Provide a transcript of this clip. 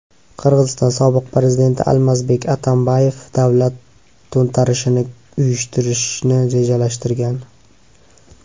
Qirg‘iziston sobiq prezidenti Almazbek Atambayev davlat to‘ntarishini uyushtirishni rejalashtirgan.